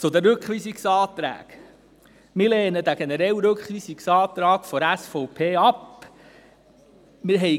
Zu den Rückweisungsanträgen: Wir lehnen den generellen Rückweisungsantrag der SVP ab.